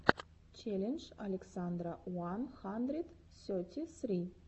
челлендж александра уан хандрид сети сри